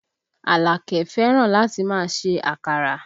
Alake fẹ́ràn láti máa ṣe àkàrà